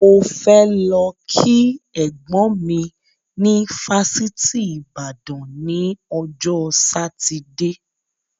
Mo fẹ lọ kí ẹ̀gbọ́n mi ni fásitì Ìbàdàn ni ọjọ́ Sátidé